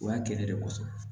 O y'a kɛlen de kosɔn